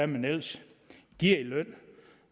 man ellers giver i løn